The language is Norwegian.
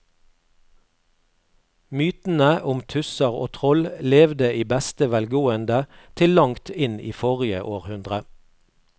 Mytene om tusser og troll levde i beste velgående til langt inn i forrige århundre.